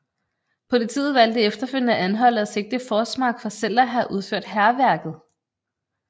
Politiet valgte efterfølgende at anholde og sigte Forsmark for selv at have udført hærværket